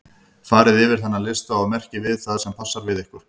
Farið yfir þennan lista og merkið við það sem passar við ykkur.